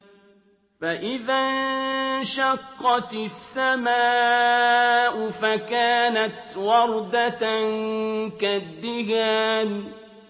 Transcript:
فَإِذَا انشَقَّتِ السَّمَاءُ فَكَانَتْ وَرْدَةً كَالدِّهَانِ